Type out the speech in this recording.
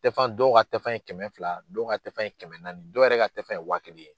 Tɛfan in dɔ ka tɛfan ye kɛmɛ fila dɔ ka tɛfan ye kɛmɛ naani dɔw yɛrɛ ka tɛfan ye wa kelen ye.